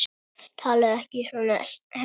Talaðu ekki svona, Hemmi!